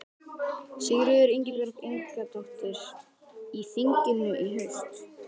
Sigríður Ingibjörg Ingadóttir: Í þinginu í haust?